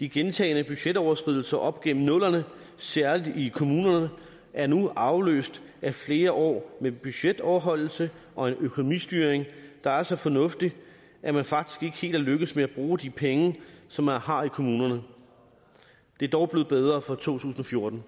de gentagne budgetoverskridelser op gennem nullerne særlig i kommunerne er nu afløst af flere år med budgetoverholdelse og en økonomistyring der er så fornuftig at man faktisk ikke helt er lykkedes med at bruge de penge som man har i kommunerne det er dog blevet bedre for to tusind og fjorten